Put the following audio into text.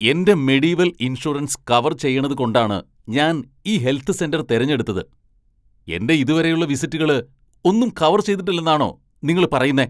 എന്റെ Medivel insurance cover ചെയ്യേണ്ടത്കൊണ്ടാണ് ഞാൻ ഈ ഹെൽത്ത് സെന്റർ തിരഞ്ഞെടുത്തത്. എന്റെ ഇതുവരെയുള്ള വിസിറ്റുകള് ഒന്നും കവർ ചെയ്തിട്ടില്ലാന്നാണോ നിങ്ങള് പറയുന്നേ?